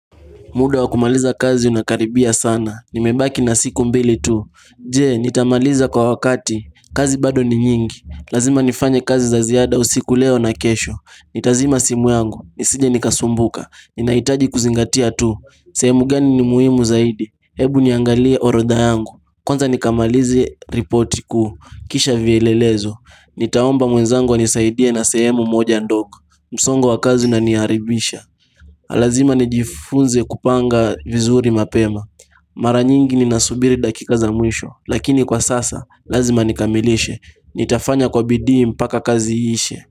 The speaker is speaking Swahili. Muda wa kumaliza kazi unakaribia sana, nimebaki na siku mbili tu Je, nitamaliza kwa wakati, kazi bado ni nyingi. Lazima nifanye kazi za ziada usiku leo na kesho. Nitazima simu yangu nisije nikasumbuka ninahitaji kuzingatia tu sehemu gani ni muhimu zaidi, hebu niangalie orodha yangu. Kwanza nikamalize ripoti kuu kisha vielelezo. Nitaomba mwenzangu anisaidie na sehemu moja ndogo. Msongo wa kazi unaniharibisha Lazima nijifunze kupanga vizuri mapema Mara nyingi ninasubiri dakika za mwisho lakini kwa sasa lazima nikamilishe. Nitafanya kwa bidii mpaka kazi iishe.